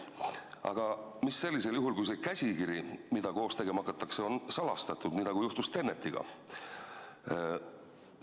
Mis saab sellisel juhul, kui käsikiri, mille põhjal koos filmi tegema hakatakse, on salastatud, nagu juhtus "Tenetiga"?